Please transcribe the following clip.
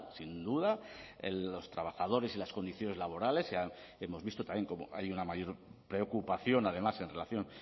sin duda los trabajadores y las condiciones laborales ya hemos visto también cómo hay una mayor preocupación además en relación